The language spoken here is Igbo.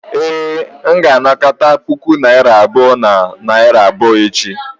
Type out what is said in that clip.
ee, m ga-anakọta puku naira abụọ na narị abụọ echi